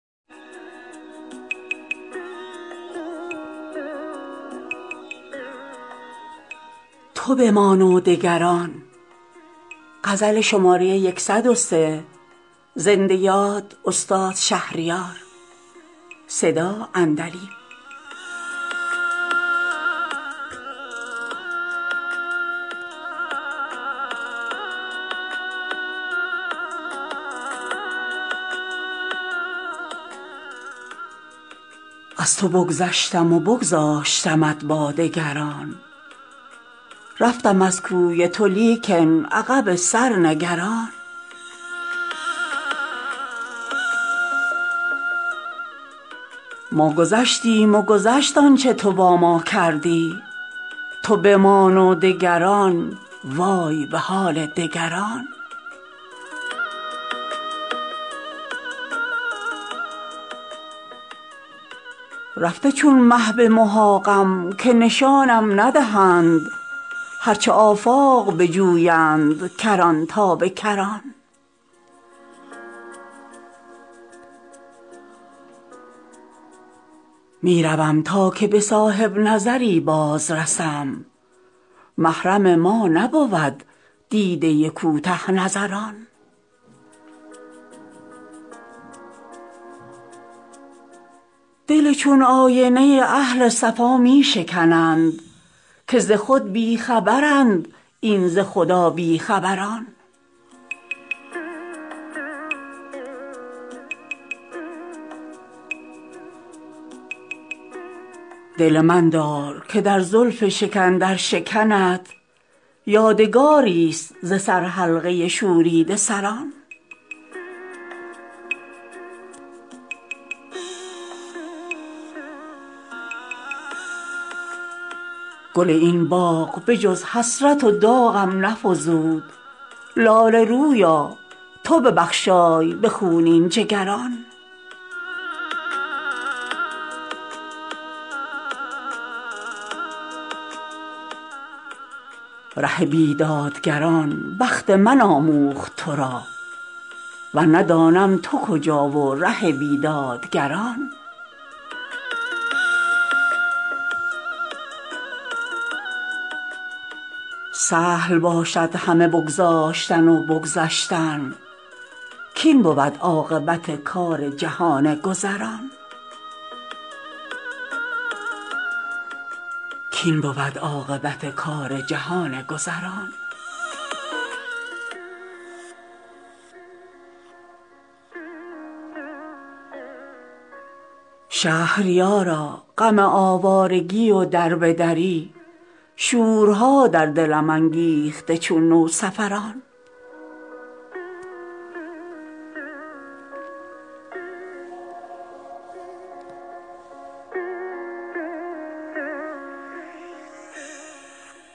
از تو بگذشتم و بگذاشتمت با دگران رفتم از کوی تو لیکن عقب سر نگران ما گذشتیم و گذشت آنچه تو با ما کردی تو بمان و دگران وای به حال دگران رفته چون مه به محاقم که نشانم ندهند هرچه آفاق بجویند کران تا به کران می روم تا که به صاحب نظری بازرسم محرم ما نبود دیده کوته نظران دل چون آینه اهل صفا می شکنند که ز خود بی خبرند این ز خدا بی خبران دل من دار که در زلف شکن در شکنت یادگاریست ز سرحلقه شوریده سران گل این باغ به جز حسرت و داغم نفزود لاله رویا تو ببخشای به خونین جگران ره بیدادگران بخت من آموخت ترا ورنه دانم تو کجا و ره بیدادگران سهل باشد همه بگذاشتن و بگذشتن کاین بود عاقبت کار جهان گذران شهریارا غم آوارگی و دربه دری شورها در دلم انگیخته چون نوسفران